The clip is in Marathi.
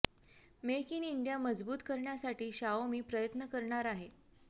मेक इन इंडिया मजबुत करण्यासाठी शाओमी प्रयत्न करणार आहे